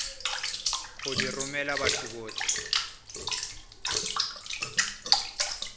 go di romela batho botlhe